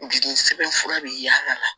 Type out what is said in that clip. Jigini sɛbɛnfura be yaala